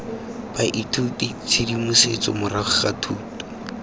baithuti tshedimosetso morago ga thuto